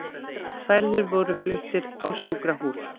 Særðir voru fluttir á sjúkrahús